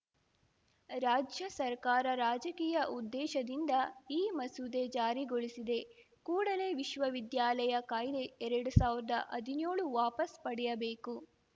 ರಾಜ್ಯ ಸರ್ಕಾರ ರಾಜಕೀಯ ಉದ್ದೇಶದಿಂದ ಈ ಮಸೂದೆ ಜಾರಿಗೊಳಿಸಿದೆ ಕೂಡಲೇ ವಿಶ್ವವಿದ್ಯಾಲಯ ಕಾಯ್ದೆ ಎರಡು ಸಾವ್ರದಾ ಹದಿನ್ಯೋಳು ವಾಪಸ್ಸು ಪಡೆಯಬೇಕು